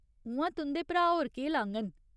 उ'आं, तुं'दे भ्राऽ होर केह् लाङन ?